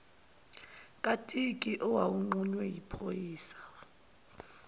katiki owawunqunywe yiphoyisa